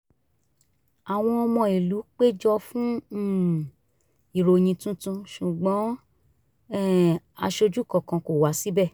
àwọn ọmọ ìlú péjọ fún um ìròyìn tuntun ṣùgbọ́n um aṣojú kankan kò wá síbẹ̀